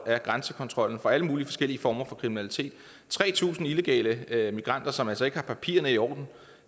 af grænsekontrollen for alle mulige forskellige former for kriminalitet tre tusind illegale migranter som altså ikke har haft papirerne i orden